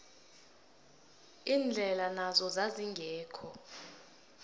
indlela nazo zazingekho